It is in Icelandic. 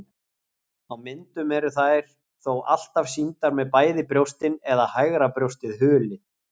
Á myndum eru þær þó alltaf sýndar með bæði brjóstin eða hægra brjóstið hulið.